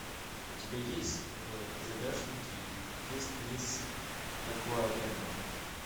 у тебя есть в загашнике есть мисс такуарембо